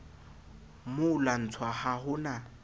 mo lwantsha ha ho na